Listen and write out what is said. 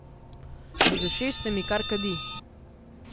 Iz ušes se mi kar kadi.